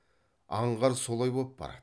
аңғар солай боп барады